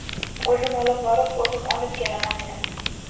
O‘zim olib borib, o‘zim olib kelaman”, dedim.